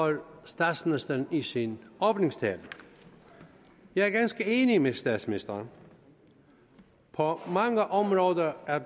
statsministeren i sin åbningstale jeg er ganske enig med statsministeren på mange områder er